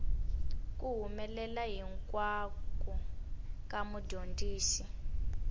ku humelela hinkwako ka mudyondzi